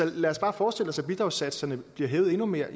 lad os bare forestille os at bidragssatserne blev hævet endnu mere